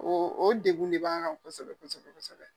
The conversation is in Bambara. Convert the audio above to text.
O o degu ne b'an kan kosɛbɛ kosɛbɛ kosɛbɛ